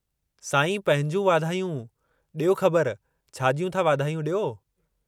साईं पंहिंजूं वाधायूं, ॾियो ख़बर छा जियूं था वाधायूं ॾियो।